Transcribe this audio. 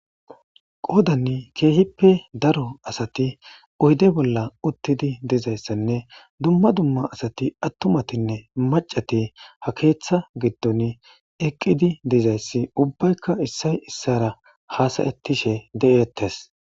qoodanni keehippe daro asati oyde bolla uttidi dizayssanne dumma dumma asati attumatinne macati ha keeththa giddon eqqidi dizayssi ubbaykka issay issara haasayettishe de7eettes